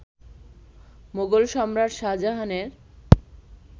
মোগল সম্রাট শাহজাহানের